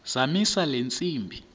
zamisa le ntsimbi